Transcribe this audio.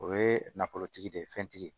O ye nafolotigi de ye fɛntigi ye